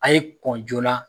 A' ye kɔn joona